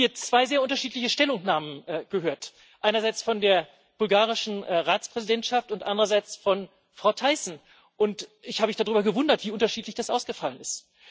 Wir haben hier zwei sehr unterschiedliche Stellungnahmen gehört, einerseits von der bulgarischen Ratspräsidentschaft und andererseits von Frau Thyssen, und ich habe mich darüber gewundert, wie unterschiedlich das ausgefallen ist.